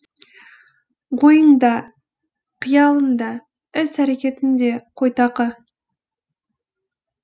ойың да қиялың да іс әрекетің де қойтақы